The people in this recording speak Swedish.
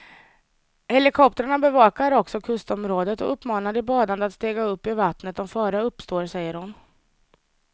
Helikoptrarna bevakar också kustområdet och uppmanar de badande att stiga upp ur vattnet om fara uppstår, säger hon.